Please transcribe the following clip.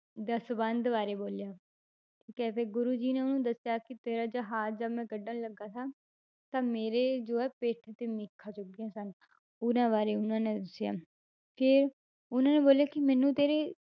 ਦਸਵੰਧ ਬਾਰੇ ਬੋਲਿਆ ਠੀਕ ਹੈ ਫਿਰ ਗੁਰੂ ਜੀ ਨੇ ਉਹਨੂੰ ਦੱਸਿਆ ਕਿ ਤੇਰਾ ਜਹਾਜ਼ ਜਦ ਮੈਂ ਕੱਢਣ ਲੱਗਾ ਸਾਂ ਤਾਂ ਮੇਰੇ ਜੋ ਹੈ ਪਿੱਠ ਤੇ ਮੇਖਾਂ ਚੁੱਭ ਗਈਆਂ ਸਨ ਉਹਨਾਂ ਬਾਰੇ ਉਹਨਾਂ ਨੇ ਦੱਸਿਆ ਤੇ ਉਹਨਾਂ ਨੇ ਬੋਲਿਆ ਕਿ ਮੈਨੂੰ ਤੇਰੇ